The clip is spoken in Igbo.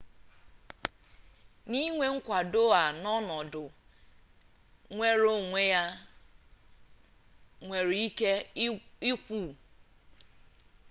n'inwe mkwado a n'ọnọdụ nnwereonwe a nwere ike ịgwụ